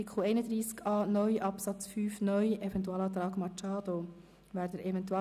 Wer dem Eventualantrag Machado zu Artikel 31a (neu)